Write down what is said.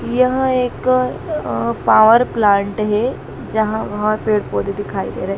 यह एक अह पावर प्लांट है यहां बहुत पेड़ पौधे दिखाई दे रहे।